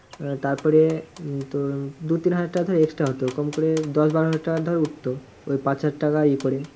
আহ তারপরে উম তোর দু তিন হাজারটাকা ধর extra হতো কম করে দশ বারো হাজার টাকা ধর উঠতো ওই পাঁচ হাজার টাকার উপরে।